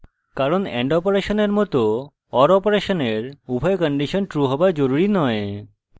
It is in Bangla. কারণ and অপারেশনের মত or অপারেশনের উভয় কন্ডিশন true হওয়া জরুরি নয়